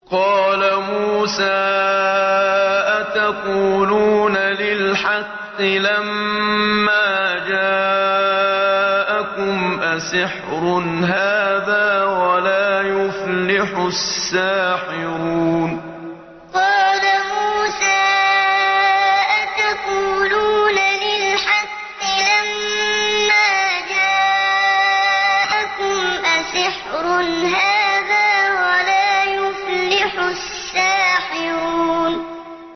قَالَ مُوسَىٰ أَتَقُولُونَ لِلْحَقِّ لَمَّا جَاءَكُمْ ۖ أَسِحْرٌ هَٰذَا وَلَا يُفْلِحُ السَّاحِرُونَ قَالَ مُوسَىٰ أَتَقُولُونَ لِلْحَقِّ لَمَّا جَاءَكُمْ ۖ أَسِحْرٌ هَٰذَا وَلَا يُفْلِحُ السَّاحِرُونَ